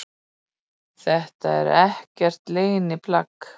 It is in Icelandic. Þetta er ekkert leyniplagg